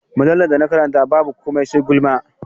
Mujallar da na karanta babu komai sai gulma.